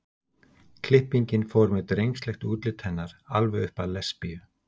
klippingin fór með drengslegt útlit hennar alveg upp að lesbíu